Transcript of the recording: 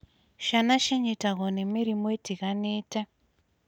Ciana cinyitagwo nĩ mĩrimũ ĩtiganite